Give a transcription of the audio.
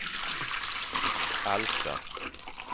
Alfta